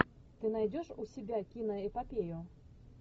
ты найдешь у себя киноэпопею